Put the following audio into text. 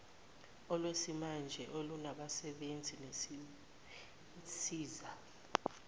olwesimanje olunabasebenzi nezinsiza